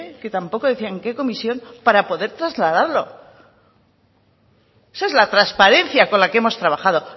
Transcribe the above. que tampoco decían qué comisión para poder trasladarlo esa es la transparencia con la que hemos trabajado